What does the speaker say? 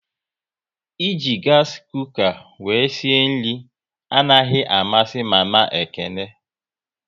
E ji gasi kuka wéré sie nri anaghị amasị mama Ekene